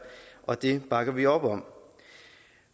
og det bakker vi op om